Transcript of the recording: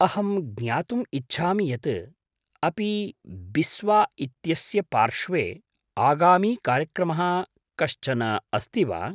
अहं ज्ञातुम् इच्छामि यत् अपि बिस्वा इत्यस्य पार्श्वे आगामी कार्यक्रमः कश्चन अस्ति वा?